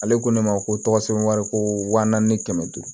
Ale ko ne ma ko tɔgɔ sɛbɛn wari ko waa naani ni kɛmɛ duuru